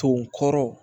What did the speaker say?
To kɔrɔ